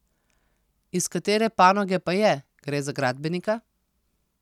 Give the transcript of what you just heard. Iz katere panoge pa je, gre za gradbenika?